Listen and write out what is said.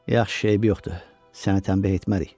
Yaxşı, eybi yoxdur, səni tənbeh etmərik.